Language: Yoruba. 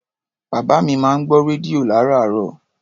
Bàbá mi máa ń gbọ́ rédíò lárààárọ̀.